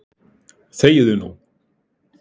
ÞEGIÐU NÚ!